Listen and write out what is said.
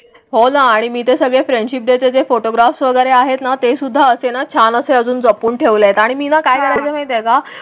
हो ना आणि मी ते सगळे फ्रेंडशिप डेचे जे, फोटोग्राफ वगैरे आहेत ना ते सुद्धा असते ना छान असे अजून जपून ठेवले आहेत आणि मीना काय करायचं माहीत आहे का?